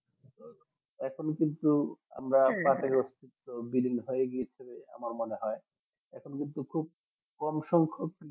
এখন কিন্তু আমরা বিলীন হয়ে গেছিলো আমার মনে হয় এখন উদ্যোগ খুব কম সংখক